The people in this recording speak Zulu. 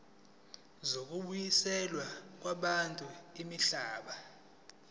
zokubuyiselwa kwabantu imihlaba